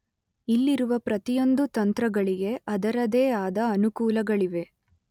ಇಲ್ಲಿರುವ ಪ್ರತಿಯೊಂದು ತಂತ್ರಗಳಿಗೆ ಅದರದೆ ಆದ ಅನುಕೂಲಗಳಿವೆ